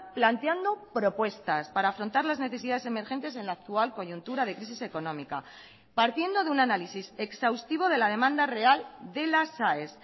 planteando propuestas para afrontar las necesidades emergentes en la actual coyuntura de crisis económica partiendo de un análisis exhaustivo de la demanda real de las aes